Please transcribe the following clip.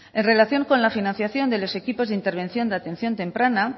en relación con la financiación de los equipos de intervención de atención temprana